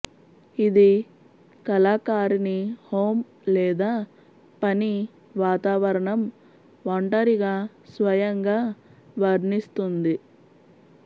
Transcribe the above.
ఇది కళాకారిణి హోమ్ లేదా పని వాతావరణం ఒంటరిగా స్వయంగా వర్ణిస్తుంది